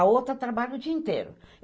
A outra trabalha o dia inteiro.